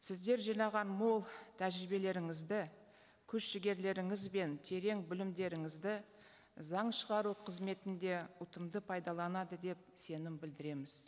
сіздер жинаған мол тәжірибелеріңізді күш жігерлереңіз бен терең білімдеріңізді заң шығару қызметінде ұтымды пайдаланады деп сенім білдіреміз